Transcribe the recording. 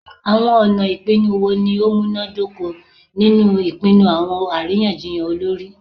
Awọn ọna ipinnu wo ni o munadoko ninu ipinnu awọn ariyanjiyan olori?